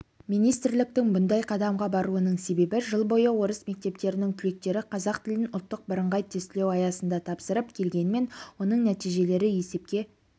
министрліктің бұндай қадамға баруының себебі жыл бойы орыс мектептерінің түлектері қазақ тілін ұлттық бірыңғай тестілеу аясында тапсырып келгенмен оның нәтижелері есепке